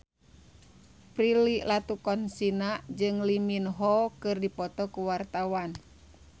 Prilly Latuconsina jeung Lee Min Ho keur dipoto ku wartawan